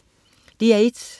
DR1: